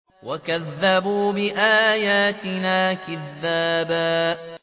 وَكَذَّبُوا بِآيَاتِنَا كِذَّابًا